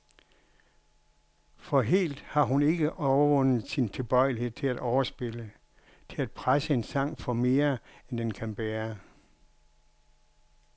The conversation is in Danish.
For helt har hun ikke overvundet sin tilbøjelighed til at overspille, til at presse en sang for mere, end den kan bære.